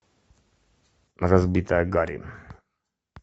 разбирая гарри